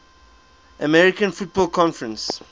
american football conference